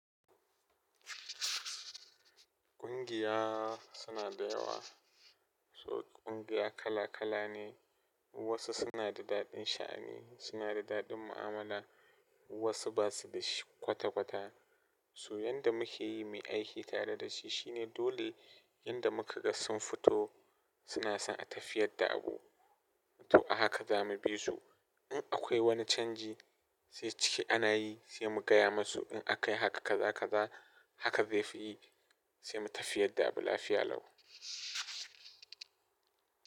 Ƙungiya suna da yawa, su ƙungiya kala kala ne, wasu suna da daɗin sha'ani, suna da daɗin mu'amala, wasu ba su da shi kwata kwata. Su wanda muke yi mai aiki tare da shi shine dole yanda muka ga sun fito, suna son a tafi yadda abu. To a haka za mu bi su. In akwai wani canji sai ciki ana yi sai mu gaya masu in aka yi haka kaza kaza haka zai fi yi sai mu tafi yadda abu lafiya lau.